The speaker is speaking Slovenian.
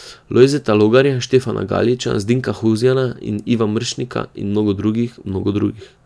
Lojzeta Logarja, Štefana Galiča, Zdenka Huzjana, Iva Mršnika in mnogih, mnogih drugih.